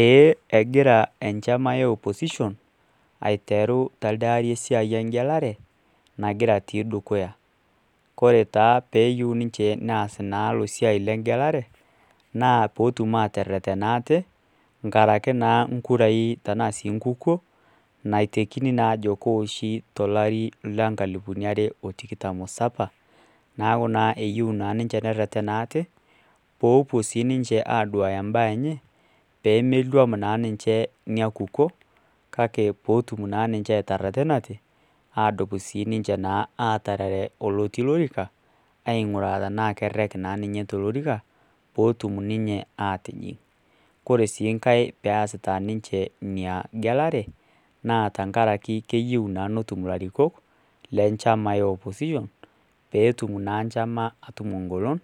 Eeh egira enchama e opposition ateru telde aari esiai engelerae nagira atii dukuya kore taa peeyieu ninche neas ina siai engelare naa pootum aatereten ate ngaraki naa nkurai tenaa sii nkukuo naaosi naa tolari liare otikitam o saba naaku naa eyieu naa ninche nereren ate poopuo sii ninche aaduya imbaa enenye peemeluam naa ninche ina kukuo kake peetum naa ninche aatererenate adumu naa siininche aatigilunore olotii olorika ang'uraa tenaa kerek naa ninye tolorika peetum ninche aatijing. kore siii ngae peesita ninche ina gelare naa tengari keyieu naa netum ilarikok lenchama e opposition peetum naa nchama atum engolon